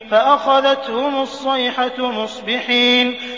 فَأَخَذَتْهُمُ الصَّيْحَةُ مُصْبِحِينَ